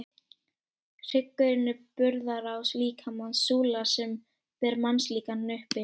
Hryggurinn er burðarás líkamans, súla sem ber mannslíkamann uppi.